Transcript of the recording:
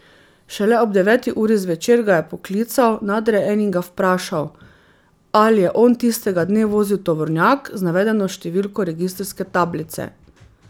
Šele ob deveti uri zvečer ga je poklical nadrejeni in ga vprašal, ali je on tistega dne vozil tovornjak z navedeno številko registrske tablice.